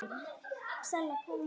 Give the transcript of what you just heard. Einnig orð geta orðið eldfim.